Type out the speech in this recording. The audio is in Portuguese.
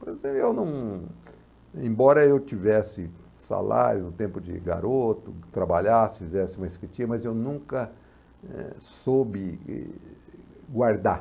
Por exemplo, eu não, embora eu tivesse salário, no tempo de garoto, que trabalhasse, fizesse uma, mas eu nunca eh soube guardar.